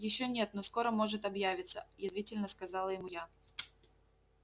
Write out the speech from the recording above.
ещё нет но скоро может объявиться язвительно сказала ему я